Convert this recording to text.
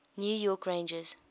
new york rangers